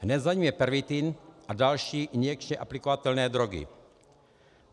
Hned za ním je pervitin a další injekčně aplikovatelné drogy.